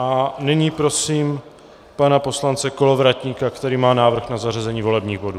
A nyní prosím pana poslance Kolovratníka, který má návrh na zařazení volebních bodů.